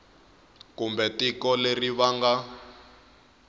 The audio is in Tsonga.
kumbe tiko leri va nga